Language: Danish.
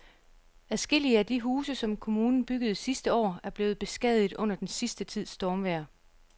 Adskillige af de huse, som kommunen byggede sidste år, er blevet beskadiget under den sidste tids stormvejr.